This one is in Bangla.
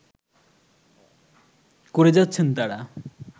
করে যাচ্ছেন তারা